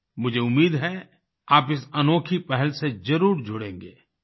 मुझे उम्मीद है आप इस अनोखी पहल से जरूर जुड़ेंगे